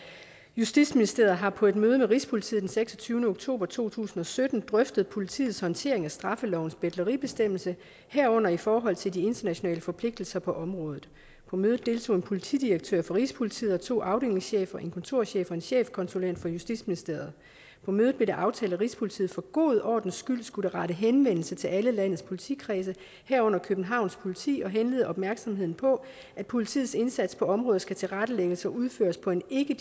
justitsministeriet har på et møde med rigspolitiet den seksogtyvende oktober to tusind og sytten drøftet politiets håndtering af straffelovens betleribestemmelse herunder i forhold til de internationale forpligtelser på området på mødet deltog en politidirektør fra rigspolitiet og to afdelingschefer en kontorchef og en chefkonsulent fra justitsministeriet på mødet blev det aftalt at rigspolitiet for god ordens skyld skulle rette henvendelse til alle landets politikredse herunder københavns politi og henlede opmærksomheden på at politiets indsats på området skal tilrettelægges og udføres på en ikke